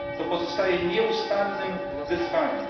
To pozostaje nieustannym wyzwaniem.